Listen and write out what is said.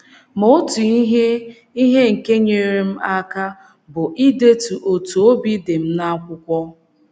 Ma otu ihe ihe nke nyeere um m aka bụ idetu otú obi dị m n’akwụkwọ.